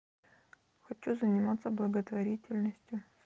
хочу заниматься благотворительностью